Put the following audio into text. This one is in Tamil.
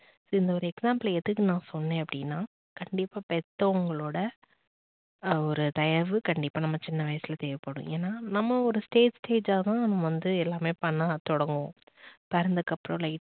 இந்த ஒரு example யை நான் எதுக்கு சொன்ன அப்படின்னா கண்டிப்பா பெத்தவங்களோட ஒரு தயவு கண்டிப்பா நம்ம சின்ன வயசுல தேவைப்படும் எனா நம்ம ஒரு stage stage ஆ தான் நம்ப வந்து எல்லாமே பண்ண தொடங்குவோம் பிறந்ததுக்கு அப்புறம்